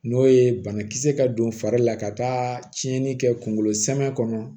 N'o ye banakisɛ ka don fari la ka taa tiɲɛni kɛ kunkolo zɛmɛ kɔnɔ